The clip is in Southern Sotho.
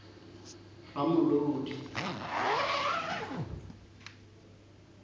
ramolodi